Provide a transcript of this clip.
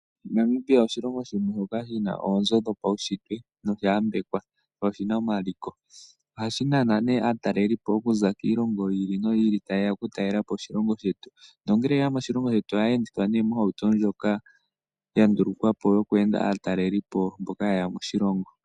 Namibia osho oshilongo shetu shoka shina onzoo dhopaushitwe noshayambekwa noshina omaliko ohashinana ne aatalelipo okuza kiilongo yi ili noyi ili tayeya okutalela po oshilongo shetu nongele yeya moshilongo shetu oha ya endithwa moshihauto ndjoka handulukwapo yokwenda aatalelipo mboka yeya moshilongo.